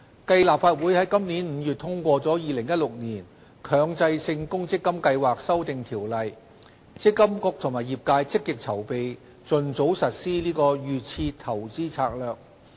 繼立法會於今年5月通過《2016年強制性公積金計劃條例》，積金局和業界積極籌備盡早實施"預設投資策略"。